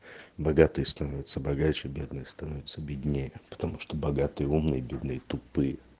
богатые становятся богаче бедные становятся беднее потому что богатые умные бедные тупые